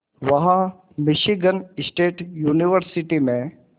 वहां Michigan State University में